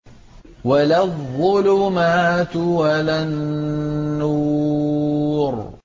وَلَا الظُّلُمَاتُ وَلَا النُّورُ